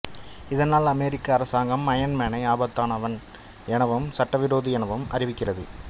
இதனால் அமெரிக்க அரசாங்கம் அயன் மேனை ஆபத்தானவன் எனவும் சட்டவிரோதி எனவும் அறிவிக்கிறது